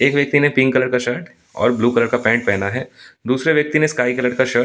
एक व्यक्ति ने पिंक कलर का शर्ट और ब्लू कलर का पैंट पहना है दूसरे व्यक्ति ने स्काई कलर का शर्ट --